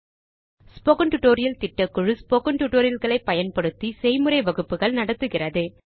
spoken tutorial திட்டக்குழு spoken tutorial களை பயன்படுத்தி செய்முறை வகுப்புகள் நடத்துகிறது